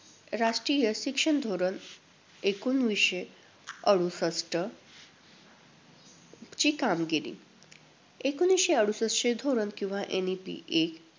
राष्ट्रीय शिक्षण धोरण एकोणवीसशे अडुसष्ठ ची कामगिरी. एकोणवीसशे अडुसष्ठचे धोरण किंवा NEP एक